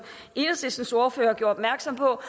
enhedslistens ordfører gjorde opmærksom på